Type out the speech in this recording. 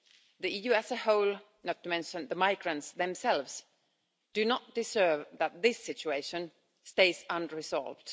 The EU as a whole, not to mention the migrants themselves, do not deserve that this situation stays unresolved.